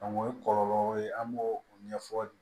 o ye kɔlɔlɔw ye an b'o o ɲɛfɔ